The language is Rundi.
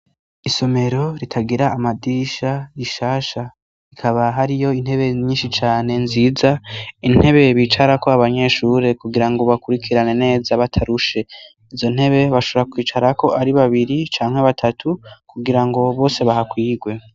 Isomero ritagira amadisha rishasha ikaba hariyo intebe nyinshi cane nziza, intebe bicarako abanyeshure kugirango bakurikirane neza batarushe. Izontebe bashobora kwicarako ari babiri canke batatu kugirango bose bahakwigwe.